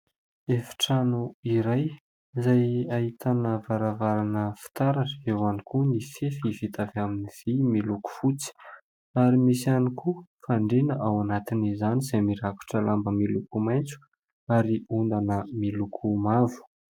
Efitrano iray izay ahitana varavarana fitaratra, eo ihany koa ny fefy vita avy amin'ny vy miloko fotsy ary misy ihany koa fandriana ao anatin'izany izay mirakotra lamba miloko maitso ary ondana miloko mavo.